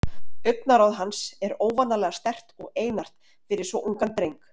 Augnaráð hans er óvanalega sterkt og einart fyrir svo ungan dreng.